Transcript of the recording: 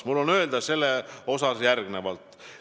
Mul on öelda selle kohta järgmist.